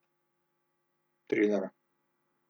Triler.